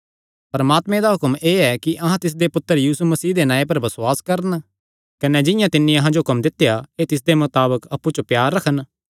परमात्मे दा हुक्म एह़ ऐ कि अहां तिसदे पुत्तर यीशु मसीह दे नांऐ पर बसुआस करन कने जिंआं तिन्नी अहां जो हुक्म दित्या ऐ तिसदे मताबक अप्पु च प्यार रखन